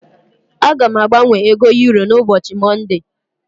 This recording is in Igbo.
Aga m agbanwe ego euro n'ubochi monde.